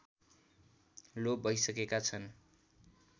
लोप भइसकेका छन्